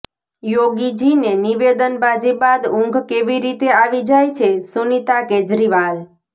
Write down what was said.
યોગીજીને નિવેદનબાજી બાદ ઊંઘ કેવી રીતે આવી જાય છેઃ સુનીતા કેજરીવાલ